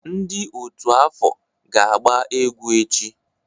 Ndị otú afọ ga-agba egwu echi.